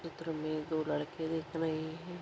चित्र मे दो लड़के दिख रहे है।